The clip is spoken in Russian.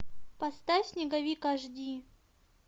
поставь снеговик аш ди